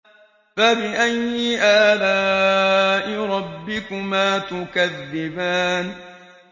فَبِأَيِّ آلَاءِ رَبِّكُمَا تُكَذِّبَانِ